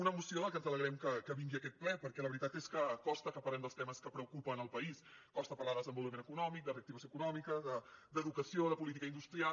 una moció que ens alegrem que vingui a aquest ple perquè la veritat és que costa que parlem dels temes que preocupen el país costa parlar de desenvolupament econòmic de reactivació econòmica d’educació de política industrial